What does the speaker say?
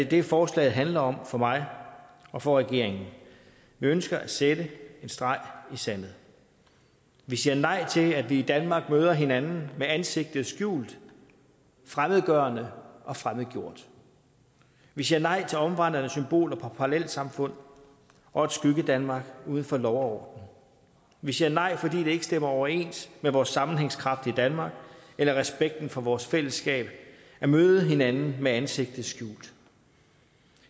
det forslaget handler om for mig og for regeringen vi ønsker at sætte en streg i sandet vi siger nej til at vi i danmark møder hinanden med ansigtet skjult fremmedgørende og fremmedgjort vi siger nej til omvandrende symboler på parallelsamfund og et skyggedanmark uden for lov og vi siger nej fordi det ikke stemmer overens med vores sammenhængskraft i danmark eller respekten for vores fællesskab at møde hinanden med ansigtet skjult